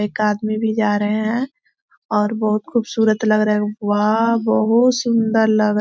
एक आदमी भी जा रहे है और बहुत खुबसूरत लग रहे है वाह बहुत सुन्दर लग रहा--